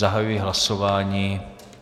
Zahajuji hlasování.